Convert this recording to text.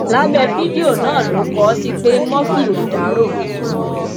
lábẹ fídíò náà lọ kó o sì pe murphy ò dárò